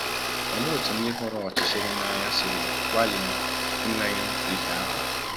Olee otú ndị hụrụ ọchịchịrị n’anya siri gbalịa imenyụ ìhè ahụ?